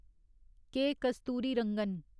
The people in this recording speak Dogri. के. कस्तूरीरंगन